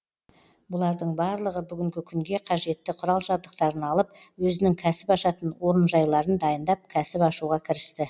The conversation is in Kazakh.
бұлардың барлығы бүгінгі күнге қажетті құрал жабдықтарын алып өзінің кәсіп ашатын орынжайларын дайындап кәсіп ашуға кірісті